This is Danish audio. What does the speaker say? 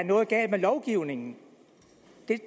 noget galt med lovgivningen